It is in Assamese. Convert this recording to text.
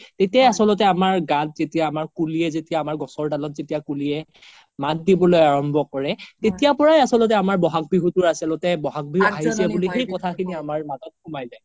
তেতিয়া আচলতে আমাৰ গাত যেতিয়া আমাৰ কুলিয়ে আমাৰ গছৰ দালত যেতিয়া কুলিয়ে মাত দিবলৈ আৰম্ভ কৰে তেতিয়াৰ পৰাই আচ্ল্তে আমাৰ বহাগ বিহুৰ আচ্ল্তে বহাগ বিহু আহিছে বুলি সেই কথা খিনি আমাৰ মাজ্ত সোমাই যাই